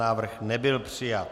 Návrh nebyl přijat.